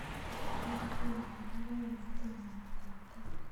Magat kekar logoek kotomo kotapton